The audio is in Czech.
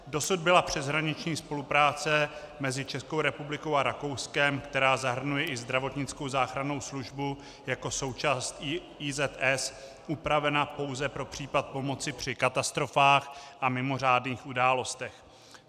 Dosud byla přeshraniční spolupráce mezi Českou republikou a Rakouskem, která zahrnuje i zdravotnickou záchrannou službu jako součást IZS, upravena pouze pro případ pomoci při katastrofách a mimořádných událostech.